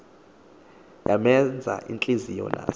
yamenza intliziyo nazo